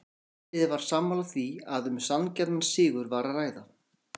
Indriði var sammála því að um sanngjarnan sigur var að ræða.